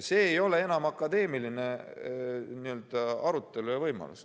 See ei ole enam akadeemilise arutelu võimalus.